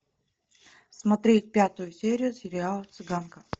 смотреть пятую серию сериала цыганка